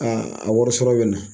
Aa a wari sɔrɔ bɛ na.